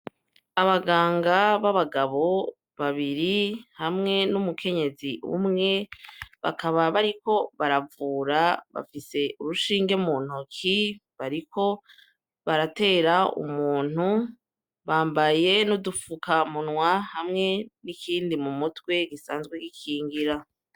Abaganga b'abagabo babiri hamwe n'umukenyezi umwe bakaba bariko baravura bafise urushinge mu ntoki bariko baratera umuntu bambaye n'udufuka munwa hamwe n'ikindi mu mutwe gisanzwe gikingira.